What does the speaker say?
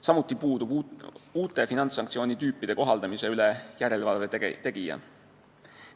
Samuti puudub uut tüüpi finantssanktsioonide kohaldamise üle järelevalve tegija.